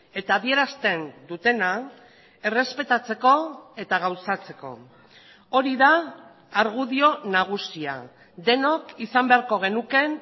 eta adierazten dutena errespetatzeko eta gauzatzeko hori da argudio nagusia denok izan beharko genukeen